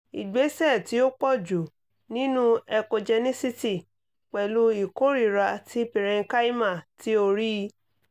igbesẹ ti o pọju ninu echogencity pẹlu ikorira ti parenchyma ti o rii